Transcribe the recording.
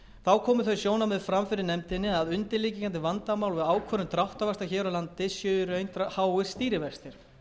þau sjónarmið fram fyrir nefndinni að undirliggjandi vandamál við ákvörðun dráttarvaxta hér á landi séu í raun háir stýrivextir